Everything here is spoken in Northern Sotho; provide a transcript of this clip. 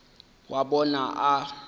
wa bona o be a